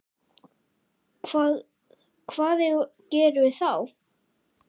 Hvað, hvað gerum við þá?